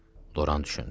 Loran düşündü.